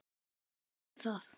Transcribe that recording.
Ég man það.